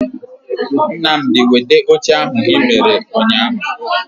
Nnamdi weta oche ahu I mere unyahu